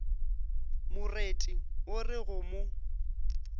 moreti o re go mo